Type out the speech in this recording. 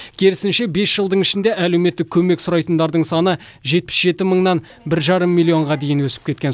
керісінше бес жылдың ішінде әлеуметтік көмек сұрайтындардың саны жетпіс жеті мыңнан бір жарым миллионға дейін өсіп кеткен